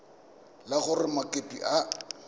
e le gore mokopi ga